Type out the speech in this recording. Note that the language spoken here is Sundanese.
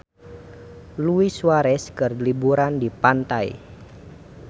Luis Suarez keur liburan di pantai